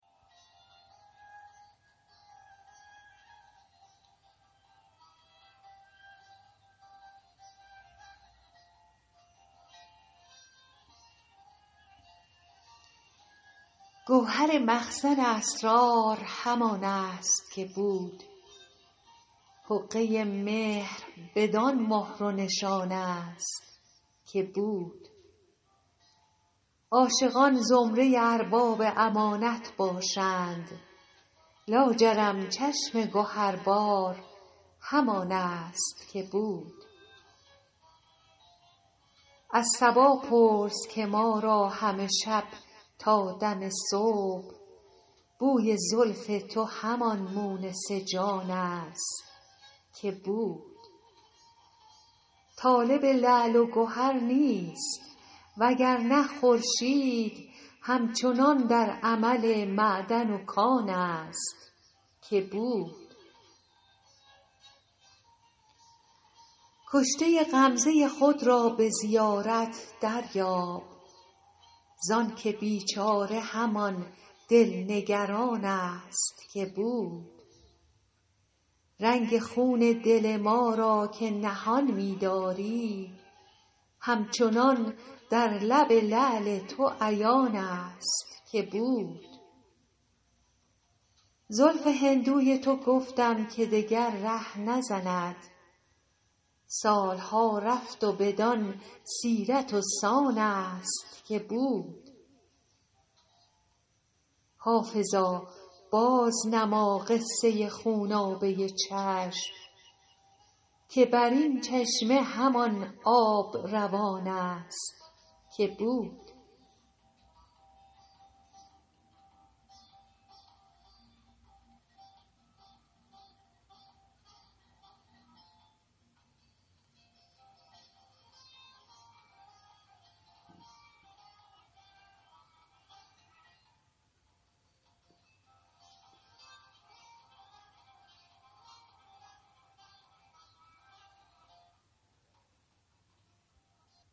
گوهر مخزن اسرار همان است که بود حقه مهر بدان مهر و نشان است که بود عاشقان زمره ارباب امانت باشند لاجرم چشم گهربار همان است که بود از صبا پرس که ما را همه شب تا دم صبح بوی زلف تو همان مونس جان است که بود طالب لعل و گهر نیست وگرنه خورشید هم چنان در عمل معدن و کان است که بود کشته غمزه خود را به زیارت دریاب زانکه بیچاره همان دل نگران است که بود رنگ خون دل ما را که نهان می داری همچنان در لب لعل تو عیان است که بود زلف هندوی تو گفتم که دگر ره نزند سال ها رفت و بدان سیرت و سان است که بود حافظا بازنما قصه خونابه چشم که بر این چشمه همان آب روان است که بود